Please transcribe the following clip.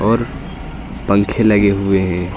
और पंखे लगे हुए हैं।